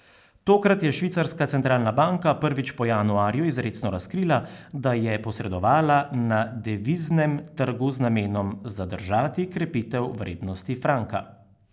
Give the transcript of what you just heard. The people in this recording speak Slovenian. Tokrat je švicarska centralna banka prvič po januarju izrecno razkrila, da je posredovala na deviznem trgu z namenom zadržati krepitev vrednosti franka.